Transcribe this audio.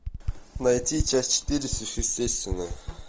найти часть четыре сверхъестественное